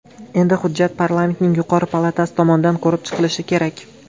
Endi hujjat parlamentning yuqori palatasi tomonidan ko‘rib chiqilishi kerak.